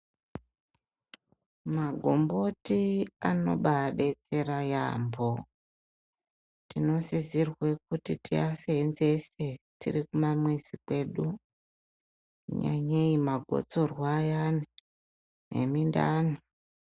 Magomboti anobadetsera yampho tinosirwe kuti tiaseenzese tiri kumamizi kwedu nyanyei magotsorwa ayani nemindani.